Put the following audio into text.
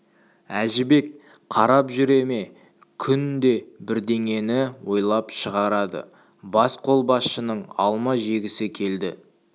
әжібек қарап жүре ме күнде бірдеңені ойлап шығарады басқолбасшының алма жегісі келді